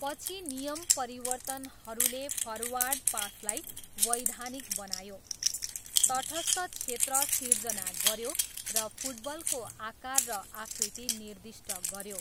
पछि नियम परिवर्तनहरूले फर्वार्ड पासलाई वैधानिक बनायो, तटस्थ क्षेत्र सिर्जना गऱ्यो र फुटबलको आकार र आकृति निर्दिष्ट गऱ्यो।